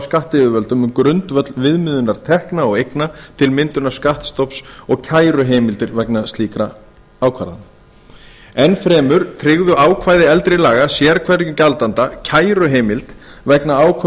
skattyfirvöldum um grundvöll viðmiðunar tekna og eigna til myndunar skattstofns og kæruheimildir vegna slíkra ákvarðana enn fremur tryggðu ákvæði eldri laga sérhverjum gjaldanda kæruheimild vegna ákvörðunar skattyfirvalda